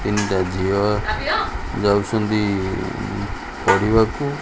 ତିନ୍ ଟା ଝିଅ ଯାଉଛନ୍ତି ପଢ଼ିବାକୁ।